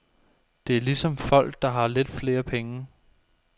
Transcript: Det er ligesom folk, der har lidt flere penge.